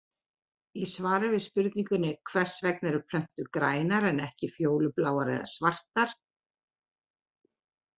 Í svari við spurningunni Hvers vegna eru plöntur grænar en ekki fjólubláar eða svartar?